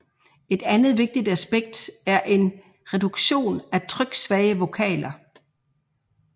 Et andet vigtigt aspekt er en reduktion af tryksvage vokaler